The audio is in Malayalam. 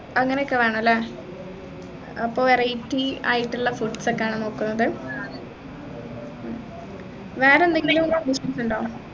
അങ്ങനെ ഒക്കെ വേണം അല്ലെ അപ്പൊ variety ആയിട്ടുള്ള foods ഒക്കെയാണോ നോക്കുന്നത് വേറെന്തെങ്കിലും wishes ഉണ്ടോ